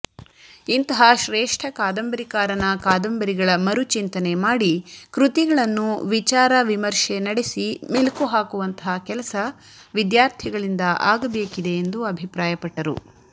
ಇಂತಹ ಶ್ರೇಷ್ಠ ಕಾದಂಬರಿಕಾರನ ಕಾದಂಬರಿಗಳ ಮರುಚಿಂತನೆ ಮಾಡಿ ಕೃತಿಗಳನ್ನು ವಿಚಾರ ವಿಮರ್ಶೆ ನಡೆಸಿ ಮೆಲುಕು ಹಾಕುವಂತಹ ಕೆಲಸ ವಿದ್ಯಾರ್ಥಿಗಳಿಂದ ಆಗಬೇಕಿದೆಎಂದುಅಭಿಪ್ರಾಯಪಟ್ಟರು